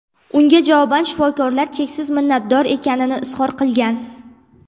Unga javoban shifokorlar cheksiz minnatdor ekanini izhor qilgan.